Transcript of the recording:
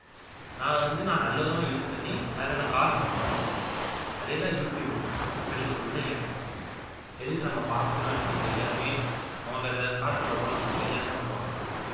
நான் வந்து நல்ல விதமா use பண்ணி அதுக்கான காசும் சம்பாதிச்சேன் அதேதான் யூ டுயூப் இப்ப நீங்க சொல்றீங்க எதுக்கு நாம பாக்குறோம்னு தெரியாமையே அவங்களுக்கு அதுல காசு வரும் நமக்கு தெரியாமையே அவங்கள பாக்குறோம் அப்படின்னு